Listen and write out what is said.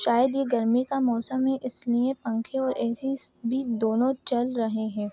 शायद ये गर्मी का मौसम है इसलिए पंखे और ए.सी. भी दोनों चल रहे हैं।